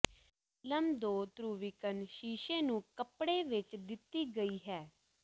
film ਦੋ ਧਰੁਵੀਕਰਨ ਸ਼ੀਸ਼ੇ ਨੂੰ ਕੱਪੜੇ ਵਿੱਚ ਦਿੱਤੀ ਗਈ ਹੈ